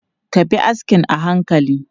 Ka bi askin a hankali!